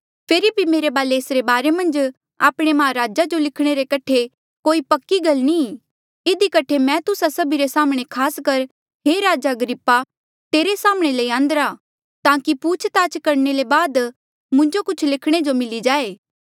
फेरी भी मेरे वाले एसरे बारे मन्झ आपणे माहराज जो लिखणे रे कठे कोई पक्की गल नी ई इधी कठे मैं तुस्सा सभी रे साम्हणें खास कर हे राजा अग्रिप्पा तेरे साम्हणें ल्यान्दिरा ताकि पूछ ताछ करणे ले बाद मुंजो कुछ लिखणे जो मिली जाए